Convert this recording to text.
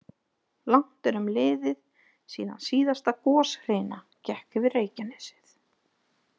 Langt er um liðið síðan síðasta goshrina gekk yfir Reykjanesið.